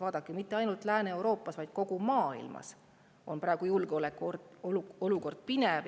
Vaadake, mitte ainult Lääne-Euroopas, vaid kogu maailmas on praegu julgeolekuolukord pinev ja sündide arv langeb.